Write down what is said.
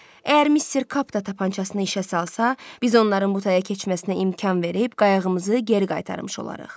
Əgər Mister Kap da tapancasını işə salarsa, biz onların butaya keçməsinə imkan verib qayığımızı geri qaytarmış olarıq.